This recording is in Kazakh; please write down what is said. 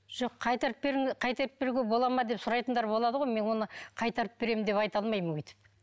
жоқ қайтарып қайтарып беруге бола ма деп сұрайтындар болады ғой мен оны қайтарып беремін деп айта алмаймын өйтіп